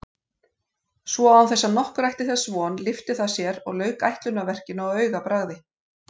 Svo án þess nokkur ætti þess von lyfti það sér og lauk ætlunarverkinu á augabragði.